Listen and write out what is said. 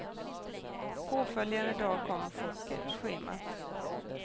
Påföljande dag kom chocken, schemat.